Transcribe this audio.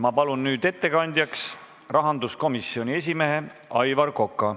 Ma palun nüüd ettekandjaks rahanduskomisjoni esimehe Aivar Koka.